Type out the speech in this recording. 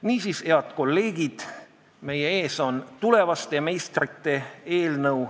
Niisiis, head kolleegid, meie ees on tulevaste meistrite eelnõu.